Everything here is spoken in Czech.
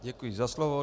Děkuji za slovo.